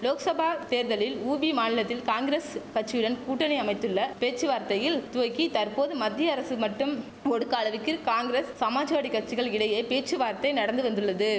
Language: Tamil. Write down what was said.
லோக்சபா தேர்தலில் உபி மாநிலத்தில் காங்கிரஸ் கச்சியுடன் கூட்டணி அமைத்துள்ள பேச்சுவார்த்தையில் துவக்கி தற்போது மத்திய அரசு மட்டும் ஒடுக்க அளவிற்கிர் காங்கரஸ் சமாஜ்வாடி கச்சிகள் இடையே பேச்சுவார்த்தை நடந்து வந்துள்ளது